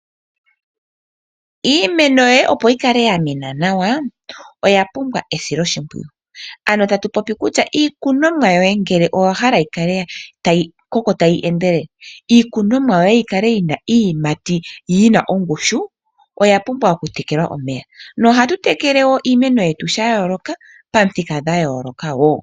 Iimeno yoye opo yi kale ya mena nawa oya pumbwa esiloshipwiyu. Ano tatu popi kutya iikunomwa yoye ngele owa hala yi kale tayi koko tayi endelele, yi na iiyimati yi na ongushu, oya pumwa okutekelwa omeya. Ohatu tekele iimeno yetu sha yooloka nopamithika dha yooloka wo.